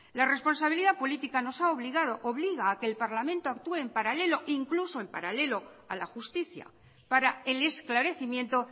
la responsabilidad política nos ha obligado obliga a que el parlamento actúe en paralelo incluso en paralelo a la justicia para el esclarecimiento